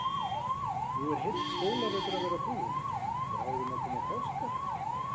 Nú er heill skólavetur að verða búinn, bráðum að koma páskar.